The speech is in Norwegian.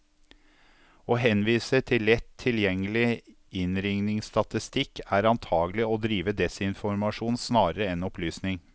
Å henvise til lett tilgjengelig innringningsstatistikk, er antagelig å drive desinformasjon snarere enn opplysning.